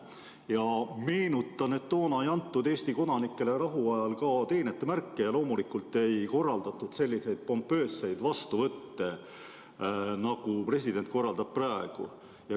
Ja meenutan, et toona ei antud Eesti kodanikele rahuajal teenetemärke ja loomulikult ei korraldatud selliseid pompoosseid vastuvõtte, nagu president korraldab praegu.